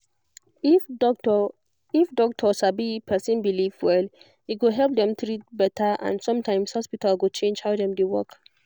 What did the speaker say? if doctor if doctor sabi person belief well e go help dem treat better and sometimes hospital go change how dem dey work